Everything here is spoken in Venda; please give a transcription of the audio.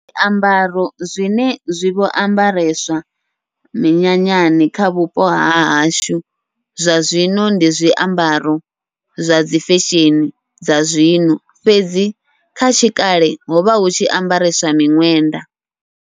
Zwiambaro zwine zwi vho ambareswa minyanyani kha vhupo hahashu, zwa zwino ndi zwiambaro zwadzi fesheni dza zwino fhedzi kha tshi kale hovha hutshi ambareswa miṅwenda.